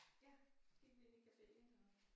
Ja gik vi ind i caféen og